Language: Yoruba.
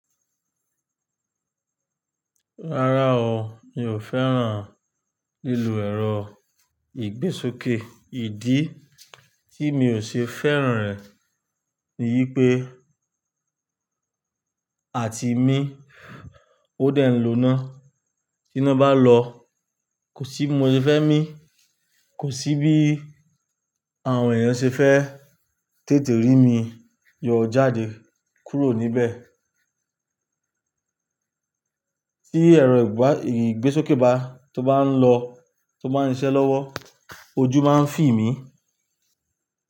Rárá o, mi ò fẹ́ràn lílo ẹ̀rọ ìgbésókè. Ìdí tí mi ò ṣe fẹ́ràn rẹ̀ ni wípé, àti mi ó dẹ̀ ń loná. Tí iná bá lọ, kò sí bi mo se fẹ́ mí, kò sí bí àwọn èèyàn ṣe fẹ́ tètè rí mi. Yọ jáde, kúrò níbẹ̀. Tí ẹ̀rọ ìgbésókè bá, tó bá ń lọ, tó bá ń ṣẹ́ lọ́wọ́, ojú máa ń fi mí.